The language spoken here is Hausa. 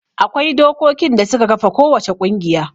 Akwai dokokin da suka kafa kowace ƙungiya.